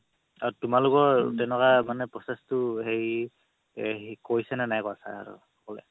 আৰু তোমালোকৰ তেনেকুৱা মানে process তো হেৰি কৰিছে নে নাই sir সকলে